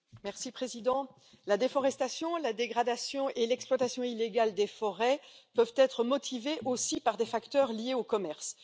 Monsieur le Président, la déforestation, la dégradation et l'exploitation illégale des forêts peuvent être motivées aussi par des facteurs liés au commerce.